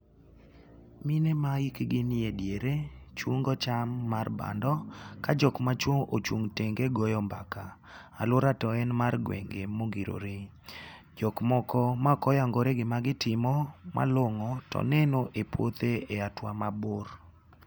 Mine ma hikgi nie diere chungo cham mar bando ka jok machuwo ochung' tenge goyo mbaka. Alwora to en mar gwenge mogirore. Jok moko mako yangore gima gitimo malongo, to neno e puothe e hatua mabor.